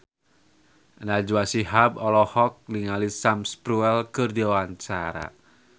Najwa Shihab olohok ningali Sam Spruell keur diwawancara